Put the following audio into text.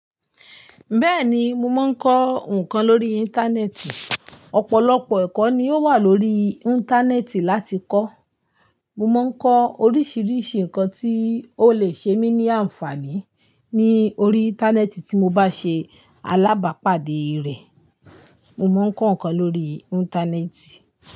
Bẹ́ẹ̀ni, mo máa ń kọ́ nǹkan lórí Íńtánẹ́ẹ̀tì. Ọ̀pọ̀lọ́pọ̀ ẹ̀kọ́ ni ó wà lórí Íńtánẹ́ẹ̀tì láti kọ́. Mo má ń kọ́ oríṣìíríṣìí nǹkan tí ó lè ṣe mí ní àǹfààní ní orí Íńtánẹ́ẹ̀tì tí mo bá ṣe alábàápàdé rẹ̀. Mo má ń kọ́ nǹkan lórí Íńtánẹ́ẹ̀tì.